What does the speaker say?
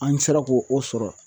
An sera ko o sɔrɔ